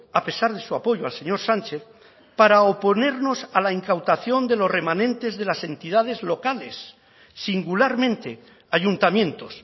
a pesar de su apoyo al señor sánchez para oponernos a la incautación de los remanentes de las entidades locales singularmente ayuntamientos